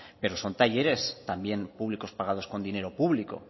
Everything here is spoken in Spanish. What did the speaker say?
pero son talleres también públicos pagados con dinero público